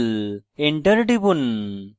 enter টিপুন